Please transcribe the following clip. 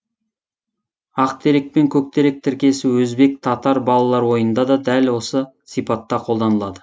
ақ терек пен көк терек тіркесі өзбек татар балалар ойынында да дәл осы сипатта қолданылады